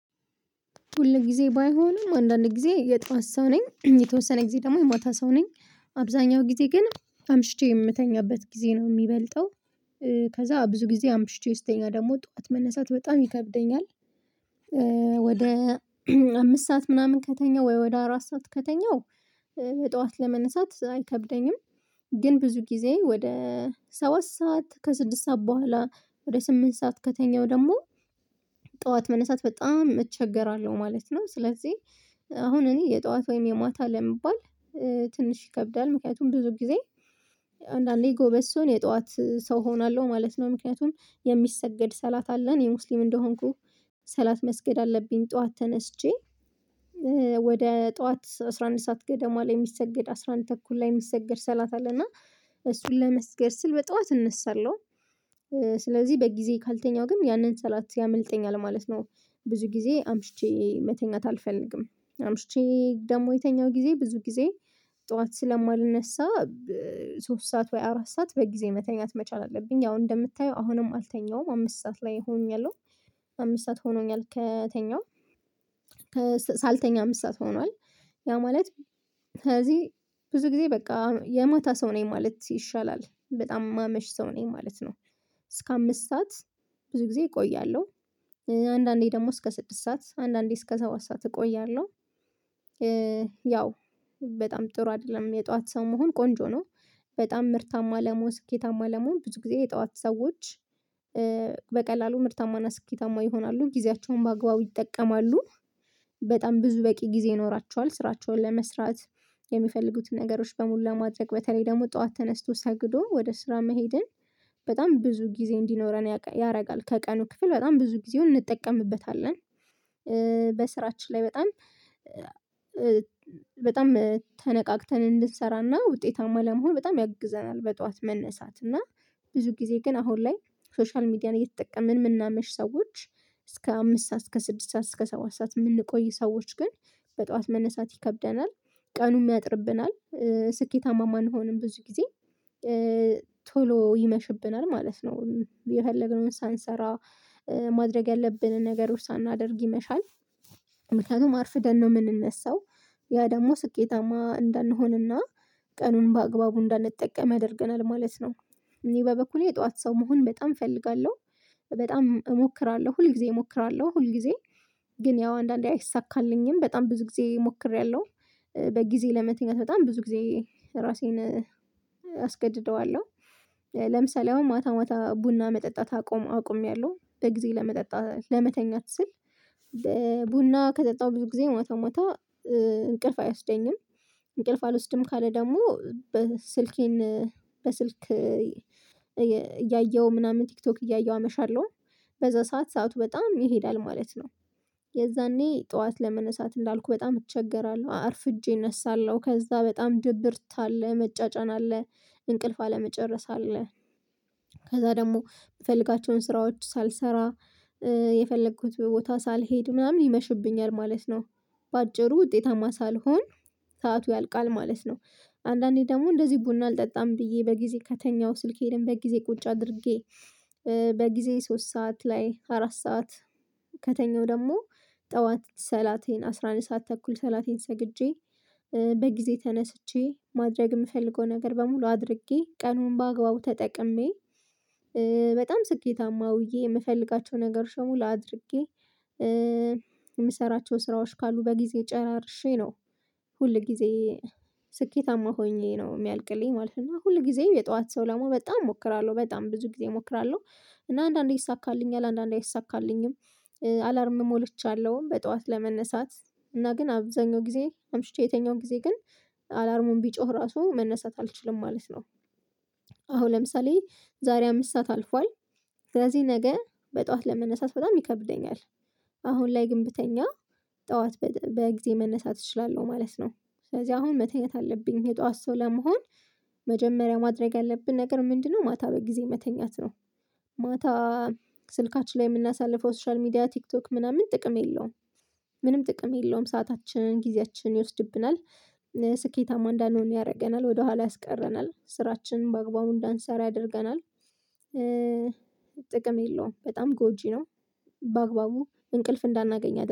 ሁል ጊዜ ባይሆንም አንዳንድ ጊዜ የጠዋት ሰው ነኝ የተወሰነ ጊዜ ደግሞ የማታ ሰው ነኝ አብዛኛው ጊዜ ግን አምሽቼ የምተኛበት ጊዜ ነው የሚበልጠው። ከዛ ብዙ ጊዜ አምሽቼ ውስጥኛ ደግሞ ጠዋት መነሳት በጣም ይከብደኛል። ወደ አምስት ሰዓት ምናምን ከተኛሁ ወይ ወደ አራት ሰዓት ከተኛሁ ጠዋት ለመነሳት አይከብደኝም። ግን ብዙ ጊዜ ወደ ሰባት ሰዓት ከስድስት ሰዓት በኋላ ወደ ስምንት ሰዓት ከተኛው ደግሞ ጠዋት መነሳት በጣም እቸገራለሁ ማለት ነው። ስለዚህ አሁን እኔ የጠዋት ወይም የማታ ለመባል ትንሽ ይከብዳል ምክንያቱም ብዙ ጊዜ አንዳንዴ ጎበዝ ሲሆን የጠዋት ሰው እሆናለሁ ማለት ነው። ምክንያቱም የሚሰገድ ሰላት አለን እኔ ሙስሊም እንደሆንኩ ሰላት መስገድ አለብኝ። ጠዋት ተነስቼ ወደ ጠዋት አስራ አንድ ሰዓት ገደማ ላይ የሚሰገድ አስራ አንድ ተኩል ላይ የሚሰገድ ሰላታ አለ እና እሱን ለመስገድ ስል በጧት እነሳለሁ። ስለዚህ በጊዜ ካልተኛው ግን ያንን ሰላት ያመልጠኛል ማለት ነው። ብዙ ጊዜ አምሽቼ መተኛት አልፈልግም አምሽቼ ደግሞ የተኛው ጊዜ ብዙ ጊዜ ጠዋት ስለማልነሳ ሶስት ሰዓት ወይ አራት ሰዓት በጊዜ መተኛት መቻል አለብኝ። ያው እንደምታየው አሁንም አልተኛሁም አምስት ሰዓት ላይ ሆኛለሁ አምስት ሰዓት ሆኖኛል ከተኛው ሳልተኛ አምስት ሰዓት ሆኗል። ያ ማለት ከዚህ ብዙ ጊዜ በቃ የማታ ሰው ነኝ ማለት ይሻላል በጣም የማመሽ ሰው ነኝ ማለት ነው። እስከ አምስት ሰዓት ብዙ ጊዜ እቆያለሁ አንዳንዴ ደግሞ እስከ ስድስት ሰዓት አንዳንዴ እስከ ሰዓት ሰዓት እቆያለሁ። ያው በጣም ጥሩ አይደለም የጧት ሰው መሆን ቆንጆ ነው። በጣም ምርታማ ለመሆን ስኬታማ ለመሆን ብዙ ጊዜ የጠዋት ሰዎች በቀላሉ ምርታማና ስኬታማ ይሆናሉ ጊዜያቸውን በማግባቡ ይጠቀማሉ። በጣም ብዙ በቂ ጊዜ ይኖራቸዋል ስራቸውን ለመስራት የሚፈልጉትን ነገሮች በሙሉ ለማድረግ በተለይ ደግሞ ጠዋት ተነስቶ ሰግዶ ወደ ስራ መሄድን በጣም ብዙ ጊዜ እንዲኖረን ያደርጋል። ከቀኑ ክፍል በጣም ብዙ ጊዜውን እንጠቀምበታለን በስራችን ላይ በጣም በጣም ተነቃቅተን እንድንሰራና ውጤታማ ለመሆን በጣም ያግዘናል። በጠዋት መነሳት እና ብዙ ጊዜ ግን አሁን ላይ ሶሻል ሚዲያን እየተጠቀምን የምናመሽ ሰዎች እስከ አምስት ሰዓት እስከ ስድስት ሰዓት እስከ ሰባት ሰዓት የምንቆይ ሰዎች ግን በጠዋት መነሳት ይከብደናል። ቀኑም ያጥርብናል ስኬታማም አንሆንም ብዙ ጊዜ ቶሎ ይመሽብናል ማለት ነው የፈለግነውን ሳንሰራ ማድረግ ያለብንን ነገሮች ሳናደርግ ይመሻል። ምክንያቱም አርፍደን ነው የምንነሳው ያ ደግሞ ስኬታማ እንዳንሆንና ቀኑን በአግባቡ እንዳንጠቀም ያደርገናል ማለት ነው። እኔ በበኩሌ የጧት ሰው መሆን በጣም እፈልጋለሁ። በጣም እሞክራለሁ ሁል ጊዜ እሞክራለሁ ሁል ጊዜ ግን ያው አንዳንዴ አይሳካልኝም በጣም ብዙ ጊዜ ሞክሬያለሁ። በጊዜ ለመተኛት በጣም ብዙ ጊዜ ራሴን አስገድደዋለሁ ለምሳሌ አሁን ማታ ማታ ቡና መጠጣት አቆም አቁሜያለሁ በጊዜ ለመጠጣት ለመተኛት ስል ቡና ከጠጣው ብዙ ጊዜ ማታ ማታ እንቅልፍ አይወስደኝም። እንቅልፍ አልወስድም ካለ ደግሞ በስልኬን በስልክ እያየሁ ምናምን ቲክቶክ እያየሁ አመሻለሁ። በዛ ሰዓት ሰዓቱ በጣም ይሄዳል ማለት ነው። የዛኔ ጠዋት ለመነሳት እንዳልኩ በጣም እቸገራለሁ አርፍጄ እነሳለሁ ከዛ በጣም ድብርት አለ መጫጫን አለ እንቅልፍ አለመጨረስ አለ ከዛ ደግሞ የምፈልጋቸውን ስራዎች ሳልሰራ የፈለኩት ቦታ ሳልሄድ ምናምን ይመሽብኛል ማለት ነው። በአጭሩ ውጤታማ ሳልሆን ሰዓቱ ያልቃል ማለት ነው። አንዳንዴ ደግሞ እንደዚህ ቡና አልጠጣም ብዬ በጊዜ ከተኛሁ ስልኬን በጊዜ ቁጭ አድርጌ በጊዜ ሶስት ሰዓት ላይ አራት ሰዓት ከተኛው ደግሞ ጠዋት ሰላቴን አስራ አንድ ሰዓት ተኩል ሰላቴን ሰግጄ በጊዜ ተነስቼ ማድረግ የምፈልገው ነገር በሙሉ አድርጌ ቀኑን በአግባቡ ተጠቅሜ በጣም ስኬታማ ውዬ የምፈልጋቸው ነገሮች ሙሉ አድርጌ የምሰራቸው ስራዎች ካሉ በጊዜ ጨራርሼ ነው። ሁል ጊዜ ስኬታማ ሆኜ ነው የሚያልቅልኝ ማለት ነው። እና ሁል ጊዜም የጠዋት ሰው ለመሆን በጣም እሞክራለሁ በጣም ብዙ ጊዜ እሞክራለሁ እና አንዳንዴ ይይሳካልኛል አንዳንዴ አይይሳካልኝም። አላርም ሞልቻለሁኝ በጠዋት ለመነሳት እና ግን አብዛኛው ጊዜ አምሽቼ የተኛው ጊዜ ግን አላርሙን ቢጮህ ራሱ መነሳት አልችልም ማለት ነው። አሁን ለምሳሌ ዛሬ አምስት ሰዓት አልፏል ስለዚህ ነገ በጧት ለመነሳት በጣም ይከብደኛል። አሁን ላይ ግን ብተኛ ጠዋት በጊዜ መነሳት እችላለሁ ማለት ነው። ስለዚህ አሁን መተኛት አለብኝ የጠዋት ሰው ለመሆን መጀመሪያ ማድረግ ያለብን ነገር ምንድነው ማታ በጊዜ መተኛት ነው? ማታ ስልካችን ላይ የምናሳልፈው ሶሻል ሚዲያ ቲክቶክ ምናምን ጥቅም የለውም። ምንም ጥቅም የለውም ሰዓታችን ጊዜያችን ይወስድብናል። ስኬታማ እንዳንሆን ያደርገናል ወደኋላ ያስቀረናል ስራችን በአግባቡ እንዳንሰራ ያደርገናል። ጥቅም የለውም በጣም ጎጂ ነው። በአግባቡ እንቅልፍ እንዳናገኝ ያደርገ